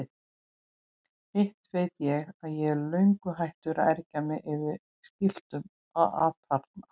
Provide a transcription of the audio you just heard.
Hitt veit ég að ég er löngu hættur að ergja mig yfir skiltinu atarna.